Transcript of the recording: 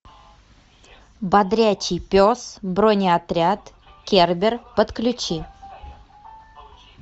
бодрячий пес бронеотряд кербер подключи